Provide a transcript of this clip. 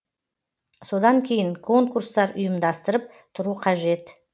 содан кейін конкурстар ұйымдастырып тұру қажет